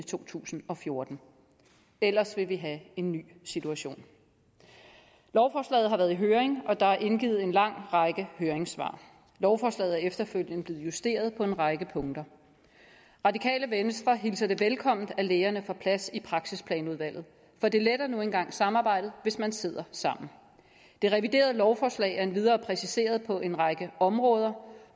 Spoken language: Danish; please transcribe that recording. to tusind og fjorten ellers vil vi have en ny situation lovforslaget har været i høring og der er indgivet en lang række høringssvar lovforslaget er efterfølgende blevet justeret på en række punkter radikale venstre hilser det velkommen at lægerne får plads i praksisplanudvalget for det letter nu engang samarbejdet hvis man sidder sammen det reviderede lovforslag er endvidere præciseret på en række områder